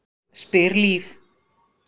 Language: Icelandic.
spyr Líf.